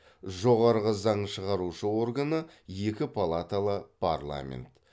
жоғарғы заң шығарушы органы екі палаталы парламент